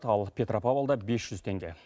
ал петропавлда бес жүз теңге